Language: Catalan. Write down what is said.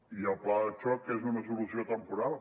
i el pla de xoc és una solució temporal